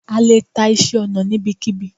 a lè ta iṣẹ ọna níbikíbi